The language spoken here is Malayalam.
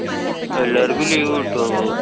ഹും എല്ലാവര്‍ക്കും leave കിട്ടോ?